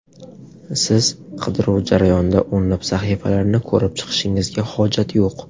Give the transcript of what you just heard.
Siz qidiruv jarayonida o‘nlab sahifalarni ko‘rib chiqishingizga hojat yo‘q.